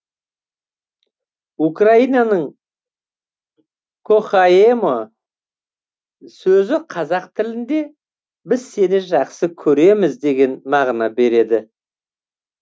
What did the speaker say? украинаның кохаэмо сөзі қазақ тілінде біз сені жақсы көреміз деген мағына береді